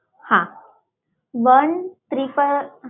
હા one triple